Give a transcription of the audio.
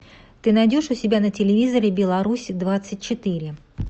ты найдешь у себя на телевизоре беларусь двадцать четыре